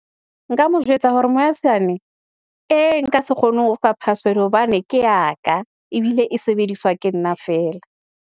Nka mo jwetsa hore mohaisane ee, nka se kgone ho fa password hobane ke ya ka ebile e sebediswa ke nna feela.